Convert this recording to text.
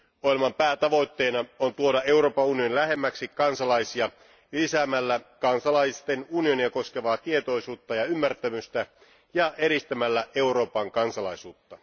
Ohjelman päätavoitteena on tuoda Euroopan unioni lähemmäksi kansalaisia lisäämällä kansalaisten unionia koskevaa tietoisuutta ja ymmärtämystä ja edistämällä Euroopan kansalaisuutta.